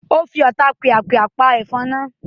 O fi Ọotapìàpìà pa efon naa